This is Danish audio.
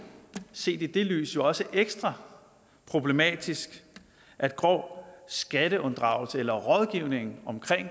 set i det lys også ekstra problematisk at grov skatteunddragelse eller rådgivning om